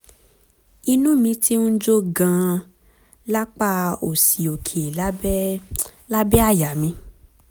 inú mi ti ń jó gan-an lápá òsì òkè lábẹ́ lábẹ́ àyà mi